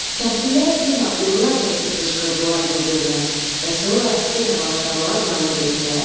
Kəndlilər yenə urra çəkib qışqırdılar bir-birinə və sonra yenə başladılar yallı getməyə.